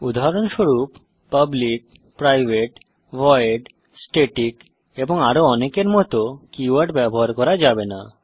উদাহরণস্বরূপ public private void static এবং আরো অনেকের মত কীওয়ার্ড ব্যবহার করা যাবে না